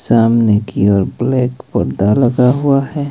सामने की ओर ब्लैक पर्दा लगा हुआ है।